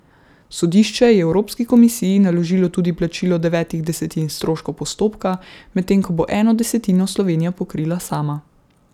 Sodišče je Evropski komisiji naložilo tudi plačilo devetih desetin stroškov postopka, medtem ko bo eno desetino Slovenija pokrila sama.